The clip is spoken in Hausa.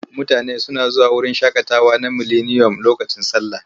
Mutane suna zuwa wurin shaƙatawa na Mileniyom lokacin sallah.